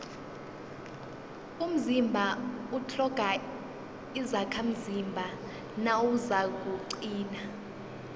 umzimba utlhoga izakhamzimba nawuzakuqina